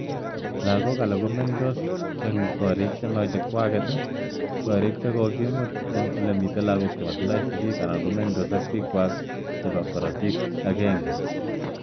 Lagok alak ko mengtos ing korick che ma kwak, korik che kokimut ing ole mii lagok che motindoi sigik anan mengtos ap pik kwak alak ap korotik aenge.